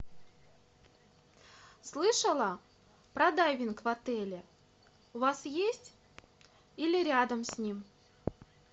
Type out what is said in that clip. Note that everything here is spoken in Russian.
слышала про дайвинг в отеле у вас есть или рядом с ним